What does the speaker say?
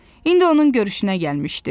İndi onun görüşünə gəlmişdi.